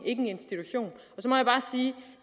en institution så må